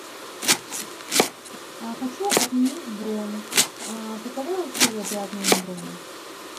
хочу отменить бронь каковы условия при отмене брони